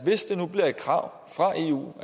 hvis det bliver et krav fra eu